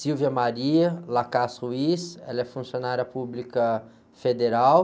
ela é funcionária pública federal.